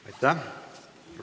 Aitäh!